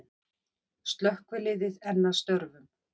Slökkvilið enn að störfum